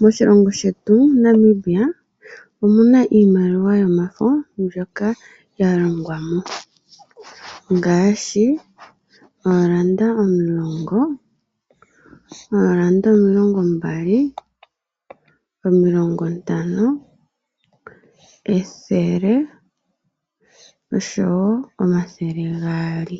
Moshilongo shetu Namibia, omuna iimaliwa yomafo mbyoka ya longwa mo ngaashi ooranda omulongo, ooranda omilongo mbali, omilongo ntano, ethele, osho wo omathele gaali.